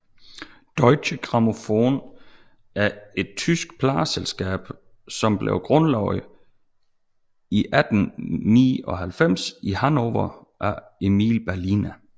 Deutsche Grammophon er et tysk pladeselskab som blev grundlagt i 1898 i Hannover af Emil Berliner